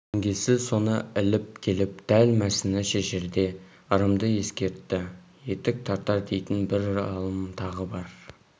жеңгесі соны іліп келіп дәл мәсіні шешерде ырымды ескертті етік тартар дейтін бір алым тағы бар